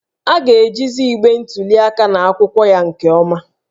A ga-ejizi igbe ntuli aka na akwụkwọ ya nke ọma